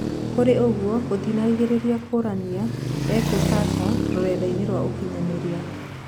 Kũrĩ ogũo gũtinarigĩrĩria kũranio#ekũ Sasha rũrenda-ĩni rwa ũkinyanĩria.